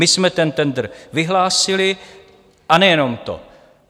My jsme ten tendr vyhlásili, a nejenom to.